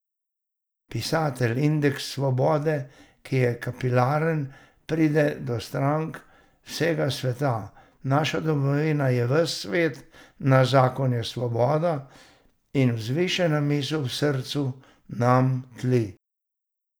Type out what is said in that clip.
Pisatelj, indeks svobode, ki je kapilaren, pride do strank vsega sveta, naša domovina je ves svet, naš zakon je svoboda, in vzvišena misel v srcu nam tli ...